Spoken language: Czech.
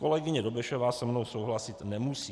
Kolegyně Dobešová se mnou souhlasit nemusí.